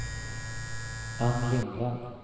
Ann Lindvall